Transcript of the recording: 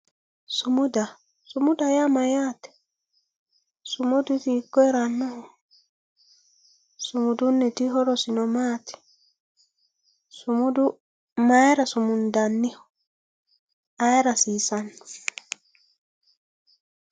Sumuda, sumuda yaa mayatte, sumuda isi hiiko heeranoho, sumudunitino horosi maati, sumudu mayira sumundanniho, ayeera hasissano